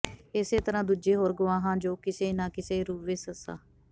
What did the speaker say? ਇਸੇ ਤਰ੍ਹਾਂ ਦੂਜੇ ਹੋਰ ਗਵਾਹਾਂ ਜੋ ਕਿਸੇ ਨਾ ਕਿਸੇ ਰੂਪ ਵਿੱਚ ਸ